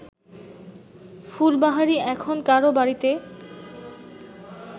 ফুলবাহারি এখন কারও বাড়িতে